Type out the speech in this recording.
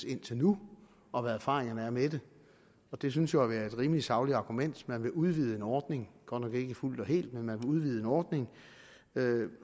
indtil nu og hvad erfaringerne er med det og det synes jo at være et rimelig sagligt argument man vil udvide en ordning godt nok ikke fuldt og helt men man vil udvide en ordning